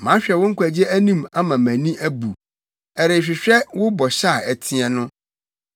Mahwɛ wo nkwagye anim ama mʼani abu, ɛrehwehwɛ wo bɔhyɛ a ɛteɛ no.